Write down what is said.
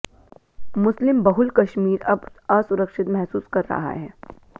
मुस्लिम बहुल कश्मीर अब असुरिक्षत महसूस कर रहा है